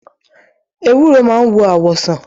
Ewúro máa ń wo àwọ̀ sàn.